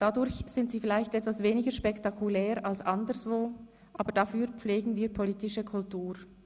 Dadurch sind sie vielleicht etwas weniger spektakulär als anderswo, aber dafür pflegen wir politische Kultur.